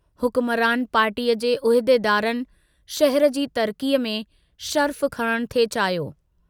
हुकमरान पार्टीअ जे उहदेदारनि शहर जी तरकीअ में शरफ़ु खणणु थे चाहियो।